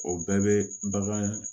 O bɛɛ bɛ bagan